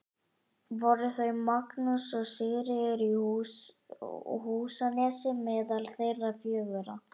Voru þau Magnús og Sigríður í Húsanesi meðal þeirra fjögurra.